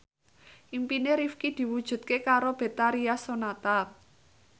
impine Rifqi diwujudke karo Betharia Sonata